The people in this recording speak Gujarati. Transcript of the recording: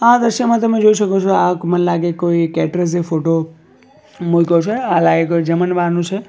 આ દ્રશ્યમાં તમે જોઈ શકો છો આ મને લાગે કોઈ કેટરર્સે ફોટો મૂયકો છે આ જમણવારનું છે.